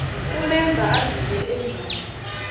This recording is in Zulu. kumenza azizwe enjani